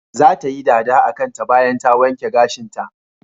Zata yi dada akanta bayan ta wanke gashinta.